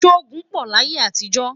sọ ogún pò láyé àtijọ?